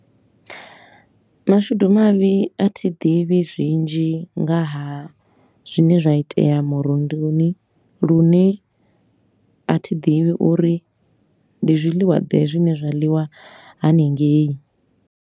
Mashudu mavhi a thi ḓivhi zwinzhi nga ha zwine zwa itea murunduni, lune a thi ḓivhi uri ndi zwiḽiwa ḓe zwine zwa ḽiwa hanengei.